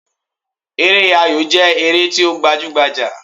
Eré ayò jẹ́ ère ti o gbajú gbajà